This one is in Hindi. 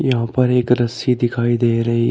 यहां पर एक रस्सी दिखाई दे रही ह--